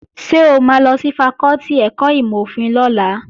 Ṣé o máa lọ sí fakọ́tì ẹ̀kọ́ ìmọ̀-òfin lọ́la?